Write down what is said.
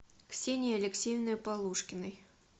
ксении алексеевны полушкиной